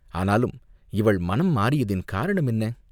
ஆனாலும் இவள் மனம் மாறியதின் காரணம் என்ன?